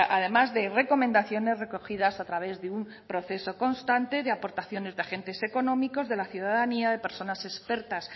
además de recomendaciones recogidas a través de un proceso constante de aportaciones de agentes económicos de la ciudadanía de personas expertas